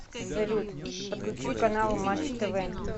салют подключи канал матч тв